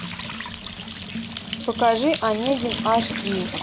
покажи онегин аш ди